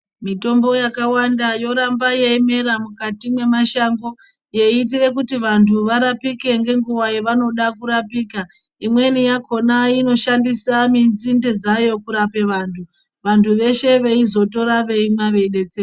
Mitombo yakawanda yoramba yeimera mukati memashango yeiitira kuti vantu varapike ngenguva yavanoda rapika imweni yakona inoshandisa dzinde dzayo kurape vantu vantu veshe veizotoramba veimwe veinobetsereka.